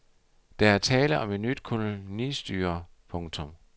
Der er tale om et nyt kolonistyre. punktum